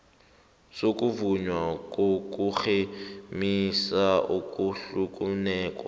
sokuvunywa kokurhemisa okuhlukeneko